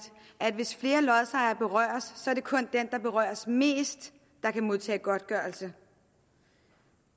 at hvis flere lodsejere berøres er det kun den der berøres mest der kan modtage godtgørelse